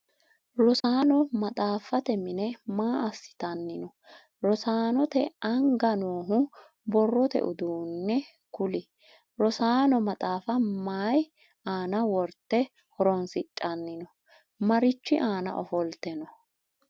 Rosaano maxaafate mine maa asitanni no? Rosaanote anga noohu borrote uduunne kuli? Rosaano maxaafa mayi aanna worte horoonsidhanni no? Marichi aanna ofolte no?